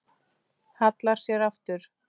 Hallar sér aftur.